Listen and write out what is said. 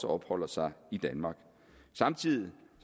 opholder sig i danmark samtidig